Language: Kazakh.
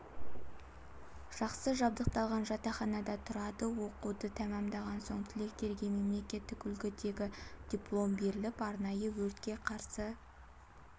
жақсы жабдықталған жатақханада тұрады оқуды тәмамдаған соң түлектерге мемлекеттік үлгідегі диплом беріліп арнайы өртке қарсы